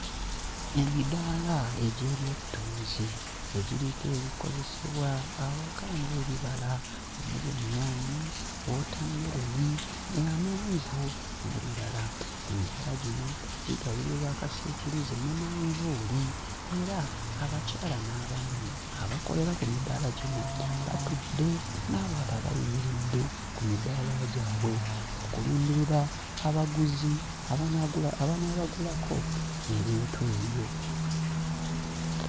Emidaala egy'ebyettunzi egiriko ebikozesebwa awaka ng'ebibala omuli ennyaanya, wootammeroni ee amenvu n'ebirala. Emidaala gino gigabirirwa akasiikirize ne manvuuli era abakyala n'abaami abakolera ku midaala gino batudde n'abalala bayimiridde ku midaala gyabwe okulindirira abaguzi abanaagula abanaabagulako ebintu ebyo.